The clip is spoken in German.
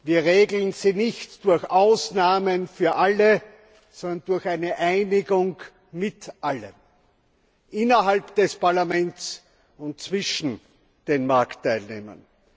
Wir regeln sie nicht durch Ausnahmen für alle, sondern durch eine Einigung mit allen innerhalb des Parlaments und zwischen den Marktteilnehmern.